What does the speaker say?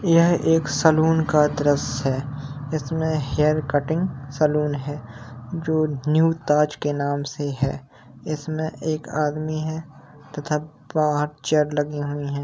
यह एक सैलून का दृश्य है इसमें हेयर कटिंग सैलून है। जो न्यू ताज के नाम से है। इसमें एक आदमी है तथा बहुत चेयर लगे हुए हैं।